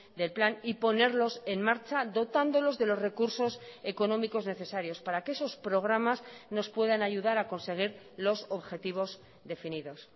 del plan y ponerlos en marcha dotándolos de los recursos económicos necesarios para que esos programas nos puedan ayudar a conseguir los objetivos definidos